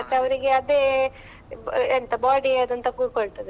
ಮತ್ ಅವ್ರಿಗೆ ಅದೆ, ಎಂತ body ಯಾವ್ದು ಅಂತ ಕೂತುಕೊಳ್ತದೆ.